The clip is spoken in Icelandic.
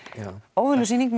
óvenjuleg sýning